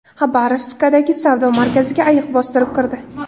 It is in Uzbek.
Xabarovskdagi savdo markaziga ayiq bostirib kirdi .